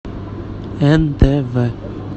нтв